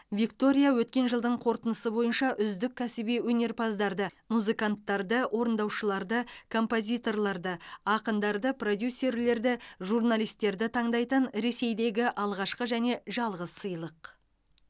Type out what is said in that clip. виктория өткен жылдың қорытындысы бойынша үздік кәсіби өнерпаздарды музыканттарды орындаушыларды композиторларды ақындарды продюсерлерді журналистерді таңдайтын ресейдегі алғашқы және жалғыз сыйлық